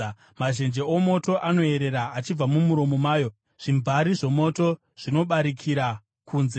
Mazhenje omoto anoyerera achibva mumuromo mayo; zvimvari zvomoto zvinobarikira kunze.